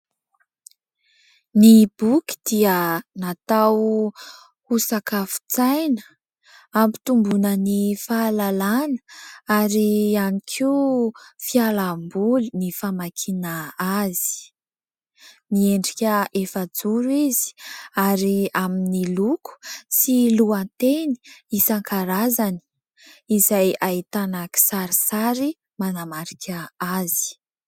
Ny boky dia natao ho sakafon-tsaina, hampitomboana ny fahalalàna ; ary ihany koa, fialamboly ny famakiana azy. Miendrika efa-joro izy, ary amin'ny loko sy lohateny isan-karazany, izay ahitana kisarisary manamarika azy.